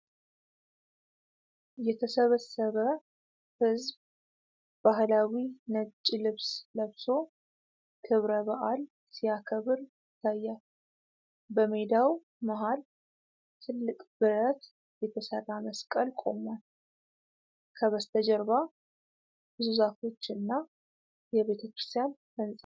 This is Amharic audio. የተሰበሰበ ሕዝብ ባህላዊ ነጭ ልብስ ለብሶ ክብረ በዓል ሲያከብር ይታያል። በሜዳው መሃል ትልቅ ብረት የተሰራ መስቀል ቆሟል። ከበስተጀርባ ብዙ ዛፎችና የቤተ ክርስቲያን ህንጻ አለ።